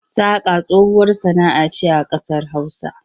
Saƙa tsohuwar sana'a ce a ƙasar Hausa.